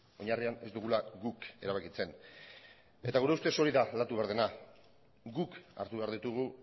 oinarria ez dugula guk erabakitzen gure ustez hori da aldatu behar dena guk hartu behar ditugu